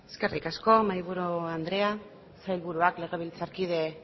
eskerrik asko mahaiburu andrea sailburuak legebiltzarkide